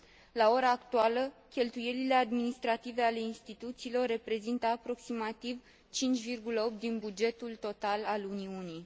La ora actuală, cheltuielile administrative ale instituțiilor reprezintă aproximativ 5,8 din bugetul total al Uniunii.